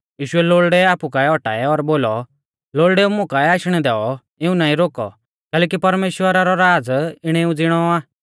यीशुऐ लोल़डै आपु काऐ औटाऐ और बोलौ लोल़डेऊ मुं काऐ आशणै दैऔ इऊं नाईं रोकौ कैलैकि परमेश्‍वरा रौ राज़ इणेऊ ज़िणौ आ